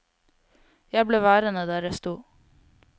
Jeg ble værende der jeg sto.